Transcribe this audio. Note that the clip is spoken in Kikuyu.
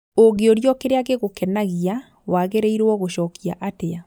ũngĩũrio kĩrĩa gĩgũkenagia wagĩrĩirwo gucokia atĩa